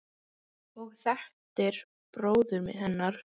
og þekktir bróður hennar.